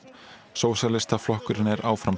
sósíalistaflokkurinn er áfram